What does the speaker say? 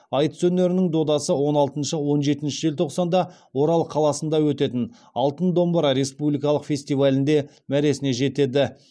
айтыс өнерінің додасы он алтыншы он жетінші желтоқсанда орал қаласында өтетін алтын домбыра республикалық фестивалінде мәресіне жетеді